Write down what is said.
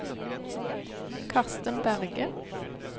Karsten Berge